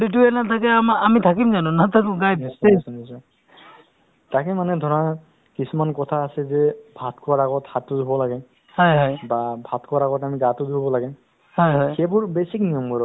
হয় মানে তেওঁ উম না খৰা মানে এটা সময়ৰ পৰা যদি নিজৰ স্ৱাস্থ্যৰ বিষয়ে যদি মানে আ ধ্যান দিলে হৈ বা নিজৰ স্ৱাস্থ্যৰ প্ৰতি অলপ লক্ষ্য লক্ষ্য ৰাখিলে হৈ তেতিয়াহ'লে ধৰক অ আজিকালি